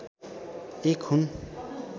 एक हुन्